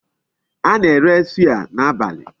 A na-ere suya n'abalị.